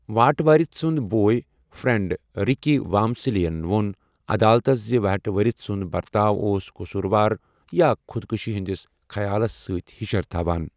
وہٹ ؤرٕتھ سُنٛد boy friend, Ricky Walmsley یَن ووٚن عدالتَس زِ وہٹ ؤرٕتھ سُنٛد برتاو اوس قصوٗروار یا خۄدکشی ہٕنٛدِس خیالَس سۭتۍ ہشِر تھوان۔